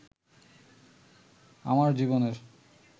আমার জীবনের